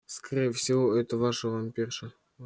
скорее всего это ваша вампирша